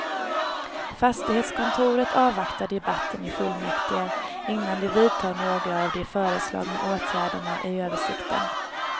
Fastighetskontoret avvaktar debatten i fullmäktige, innan de vidtar några av de föreslagna åtgärderna i översikten.